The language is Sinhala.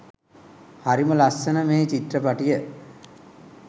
හරිම ලස්සන මේ චිත්‍රපටිය